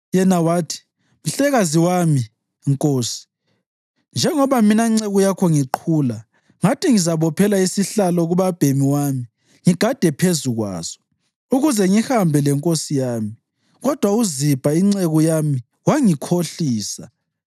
Yena wathi, “Mhlekazi wami, nkosi, njengoba mina nceku yakho ngiqhula, ngathi, ‘Ngizabophela isihlalo kubabhemi wami ngigade phezu kwaso, ukuze ngihambe lenkosi yami.’ Kodwa uZibha inceku yami wangikhohlisa.